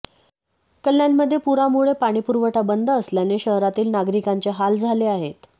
कल्याणमध्ये पुरामुळे पाणीपुरवठा बंद असल्याने शहरातील नागरिकांचे हाल झाले आहेत